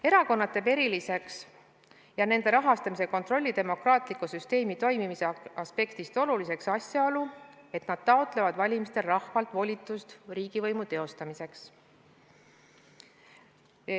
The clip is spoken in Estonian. Erakonnad teeb eriliseks ja nende rahastamise kontrolli demokraatliku süsteemi toimimise aspektist oluliseks asjaolu, et nad taotlevad valimistel rahvalt volitust riigivõimu teostamiseks.